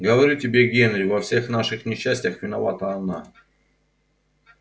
говорю тебе генри во всех наших несчастьях виновата она